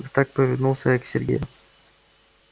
ведь так повернулся я к сергею